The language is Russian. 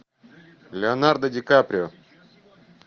леонардо ди каприо